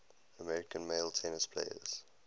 american male tennis players